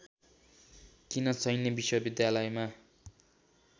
किम सैन्य विश्वविद्यालयमा